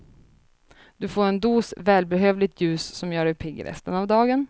Du får en dos välbehövligt ljus som gör dig pigg resten av dagen.